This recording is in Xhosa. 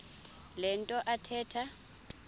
le nto athetha